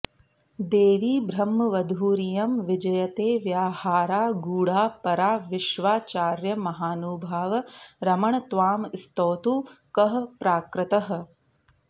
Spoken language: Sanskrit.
देवी ब्रह्मवधूरियं विजयते व्याहारगूढा परा विश्वाचार्य महानुभाव रमण त्वां स्तौतु कः प्राकृतः